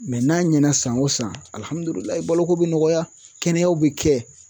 n'a ɲɛna san o san baloko bi nɔgɔya kɛnɛyaw bi kɛ